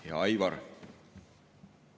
Hea Aivar!